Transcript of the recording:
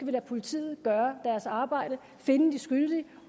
lade politiet gøre deres arbejde finde de skyldige